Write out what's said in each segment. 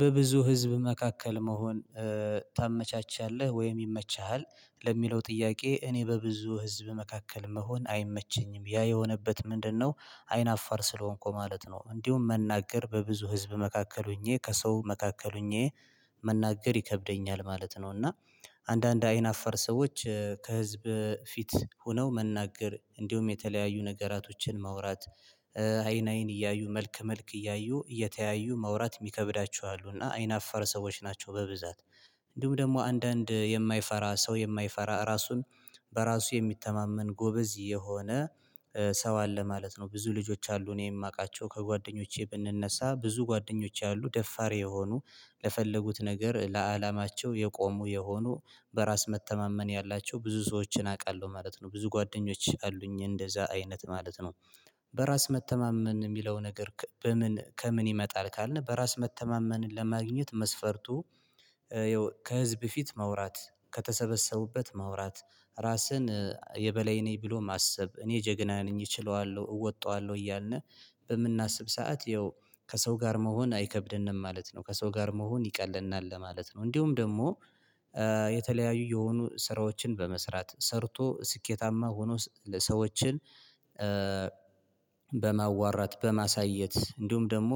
በብዙ ህዝብ መካከል መሆን ታመቻቻለህ ወይም ይመችሃል ለሚለው ጥያቄ እኔ በብዙ ህዝብ መካከል መሆን አይመቸኝም ያ የሆነበት ምንድነው? አይን አፋር ስለሆንኩ ማለት ነው እንዲሁም መናገር በብዙ ህዝብ መካከል ሆኜ ከሰው መካከል ሆኜ መናገር ይከብደኛል ማለት ነው። እና አንዳንድ አይን አፋር ሰዎች ከህዝብ ፊት ሆነው መናገር እንዲሁም የተለያዩ ነገራቶችን ማውራት። አይን አይን እያዩ መልክ መልክ እያዩ እየተያዩ ማውራት የሚከብዳቸው አሉ እና አይናፋር ሰዎች ናቸው። በብዛት እንዲሁም ደግሞ አንዳንድ የማይፈራ ሰው የማይፈራ ራሱን በራሱ የሚተማመን ጎበዝ የሆነ ሰው አለ ማለት ነው። ብዙ ልጆች አሉ እኔ የማውቃቸው ከጓደኞቼ ብንነሳ ብዙ ጓደኞቼ ያሉ ደፋር የሆኑ ለፈለጉት ነገር ለአላማቸው የቆሙ የሆኑ በራስ መተማመን ያላቸው ብዙ ሰዎችን አውቃለሁ ማለት ነው። ብዙ ጓደኞች አሉኝ እንደዛ አይነት ማለት ነው። በራስ መተማመን የሚለው ነገር ከ በምን ከምን ይመጣል ካልን በራስ መተማመንን ለማግኘት መስፈርቱ። ያው ከህዝብ ፊት ማውራት ከተሰበሰቡበት ማውራት ራስን የበላይ ነኝ ብሎ ማሰብ እኔ ጀግና ነኝ እችለዋለሁ እወጣዋለሁ እያልን በምናስብ ሰዓት ያው ከሰው ጋር መሆን አይከብድንም ማለት ነው። ከሰው ጋር መሆን ይቀልልናል ለማለት ነው። እንዲሁም ደግሞ የተለያዩ የሆኑ ስራዎችን በመስራት ሰርቶ ስኬታማ ሆኖ ሰሰዎችን በማዋራት በማሳየት እንዲሁም ደግሞ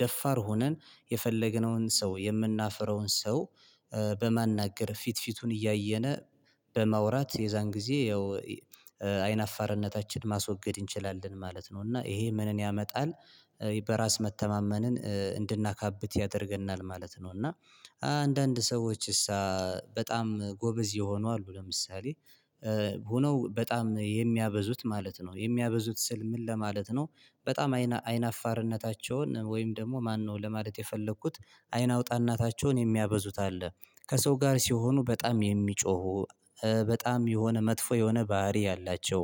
ደፋር ሆነን የፈለገነውን ሰው የምናፍረውን ሰው በማናገር ፊት ፊቱን እያየነ በማውራት የዛን ጊዜ ያው አይን አፋርነታችን ማስወገድ እንችላለን ማለት ነው። እና ይሄ ምንን ያመጣል? በራስ መተማመንን እንድናካብት ያደርገናል ማለት ነው። እና አንዳንድ ሰዎች እሳ በጣም ጎበዝ የሆኑ አሉ ለምሳሌ። ሆነው በጣም የሚያበዙት ማለት ነው የሚያበዙት ስል ምን ለማለት ነው? በጣም አይን አይን አፋርነታቸውን ወይም ደግሞ ማነው ለማለት የፈለኩት አይን አውጣ እናታቸውን የሚያበዙት አለ። ከሰው ጋር ሲሆኑ በጣም የሚጮሁ በጣም የሆነ መጥፎ የሆነ ባህሪ ያላቸው።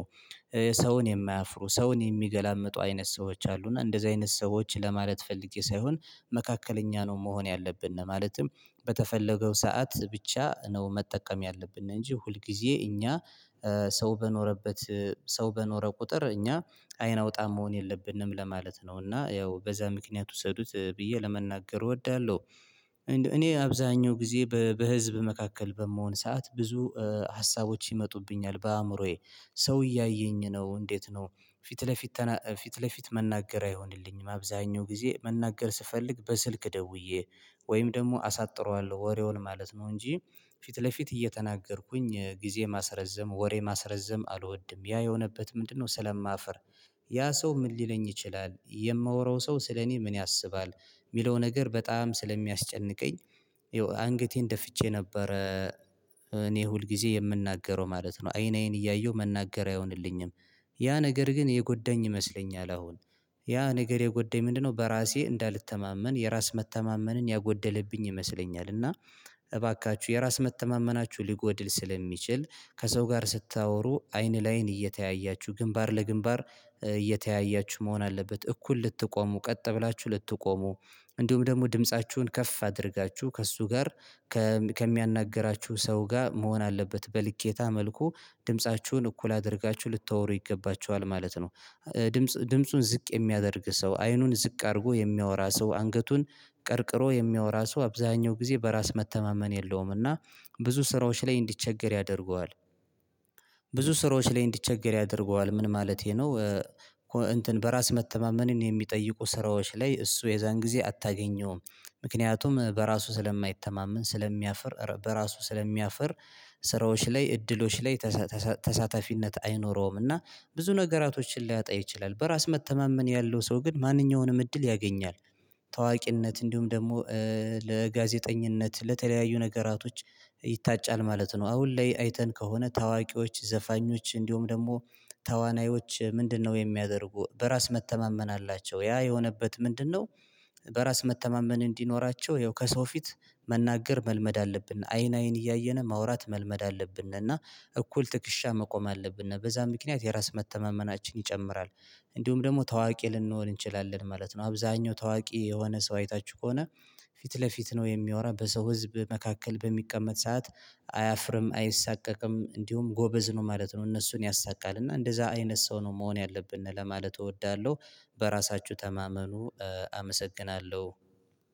ሰውን የማያፍሩ ሰውን የሚገላምጡ አይነት ሰዎች አሉና እንደዚህ አይነት ሰዎች ለማለት ፈልጌ ሳይሆን መካከለኛ ነው። መሆን ያለብን ማለትም በተፈለገው ሰዓት ብቻ ነው መጠቀም ያለብን። እንጂ ሁል ጊዜ እኛ ሰው በኖረበት ሰው በኖረ ቁጥር እኛ አይን አውጣ መሆን የለብንም ለማለት ነው። እና ያው በዛ ምክንያት ውሰዱት ብዬ ለመናገር እወዳለሁ። እኔ አብዛኛው ጊዜ በበህዝብ መካከል በምሆን ሰዓት ብዙ ሀሳቦች ይመጡብኛል በአእምሮዬ። ሰው እያየኝ ነው እንዴት ነው? ፊት ለፊት ፊት ለፊት መናገር አይሆንልኝም አብዛኛው ጊዜ መናገር ስፈልግ በስልክ ደውዬ ወይም ደግሞ አሳጥረዋለሁ ወሬውን ማለት ነው። እንጂ ፊት ለፊት እየተናገርኩኝ ጊዜ ማስረዘም ወሬ ማስረዘም አልወድም። ያ የሆነበት ምንድነው? ስለማፍር ያ ሰው ምን ሊለኝ ይችላል የማወራው ሰው ስለኔ ምን ያስባል? የሚለው ነገር በጣም ስለሚያስጨንቀኝ አንገቴን ደፍቼ ነበረ። እኔ ሁል ጊዜ የምናገረው ማለት ነው አይን አይን እያየሁ መናገር አይሆንልኝም። ያ ነገር ግን የጎዳኝ ይመስለኛል። አሁን ያ ነገር የጎዳኝ ምንድነው? በራሴ እንዳልተማመን የራስ መተማመንን ያጎደለብኝ ይመስለኛል። እና እባካችሁ የራስ መተማመናችሁ ሊጎድል ስለሚችል ከሰው ጋር ስታወሩ አይን ለአይን እየተያያችሁ ግንባር ለግንባር እየተያያችሁ መሆን አለበት እኩል ልትቆሙ ቀጥ ብላችሁ ልትቆሙ እንዲሁም ደግሞ ድምፃችሁን ከፍ አድርጋችሁ ከእሱ ጋር ከሚያናግራችሁ ሰው ጋር መሆን አለበት በልኬታ መልኩ ድምፃችሁን እኩል አድርጋችሁ ልታወሩ ይገባችኋል ማለት ነው። ድምጽ ድምፁን ዝቅ የሚያደርግ ሰው አይኑን ዝቅ አድርጎ የሚያወራ ሰው አንገቱን ቀርቅሮ የሚያወራ ሰው አብዛኛው ጊዜ በራስ መተማመን የለውምና ብዙ ስራዎች ላይ እንዲቸገር ያደርገዋል። ብዙ ስራዎች ላይ እንዲቸገር ያደርገዋል ምን ማለቴ ነው? እንትን በራስ መተማመንን የሚጠይቁ ስራዎች ላይ እሱ የዛን ጊዜ አታገኘውም። ምክንያቱም በራሱ ስለማይተማመን ስለሚያፍር በራሱ ስለሚያፍር ስራዎች ላይ እድሎች ላይ ተሳተሳተሳታፊነት አይኖረውምና። ብዙ ነገራቶችን ሊያጣ ይችላል በራስ መተማመን ያለው ሰው ግን ማንኛውንም እድል ያገኛል። ታዋቂነት እንዲሁም ደግሞ ለጋዜጠኝነት ለተለያዩ ነገራቶች ይታጫል ማለት ነው። አሁን ላይ አይተን ከሆነ ታዋቂዎች ዘፋኞች እንዲሁም ደግሞ ተዋናዮች ምንድነው? የሚያደርጉ በራስ መተማመን አላቸው ያ የሆነበት ምንድነው? በራስ መተማመን እንዲኖራቸው ይኸው ከሰው ፊት መናገር መልመድ አለብን አይን አይን እያየን ማውራት መልመድ አለብን። እና እኩል ትክሻ መቆም አለብን በዛ ምክንያት የራስ መተማመናችን ይጨምራል። እንዲሁም ደግሞ ታዋቂ ልንሆን እንችላለን ማለት ነው። አብዛኛው ታዋቂ የሆነ ሰው አይታችሁ ከሆነ ፊት ለፊት ነው የሚወራ በሰው ህዝብ መካከል በሚቀመጥ ሰዓት አያፍርም አይሰቀቅም እንዲሁም ጎበዝ ነው ማለት ነው። እነሱን ያሳቃል እና እንደዛ አይነት ሰው ነው መሆን ያለብን ለማለት እወዳለሁ። በራሳችሁ ተማመኑ። አመሰግናለሁ።